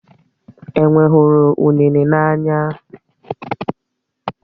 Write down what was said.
Enwé hụrụ unéné n'anya